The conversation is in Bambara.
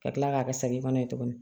Ka kila k'a kɛ sanni fana ye tuguni